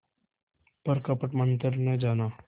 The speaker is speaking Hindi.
पर कपट मन्त्र न जाना